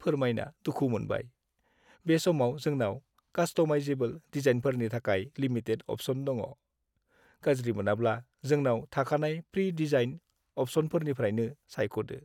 फोरमायना दुखु मोनबाय, बे समाव जोंनाव कास्टमाइजेबोल डिजाइनफोरनि थाखाय लिमिटेड अप्शन दङ। गाज्रि मोनाब्ला जोंनाव थाखानाय प्रि-डिजाइन्ड अप्शनफोरनिफ्रायनो सायख'दो।